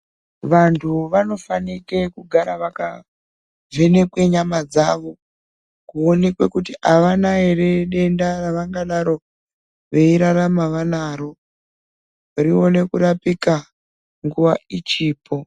Vantu vanofanire kugara vakavhenekwe nyama dzawo kuonekwe kuti avana here denda ravanga dano veirarama vanaro rione kurapika nguva ichipo.